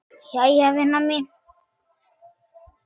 Jæja vina mín.